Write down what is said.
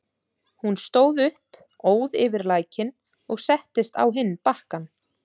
Hún stóð upp, óð yfir lækinn og settist á hinn bakkann.